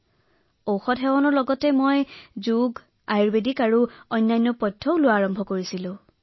মহাশয় ঔষধৰ লগতে মই কেৱল যোগ আয়ুৰ্বেদিক কৰাই নহয় বৰঞ্চ মই কাঢ়া গ্ৰহণ কৰাও আৰম্ভ কৰিছিলো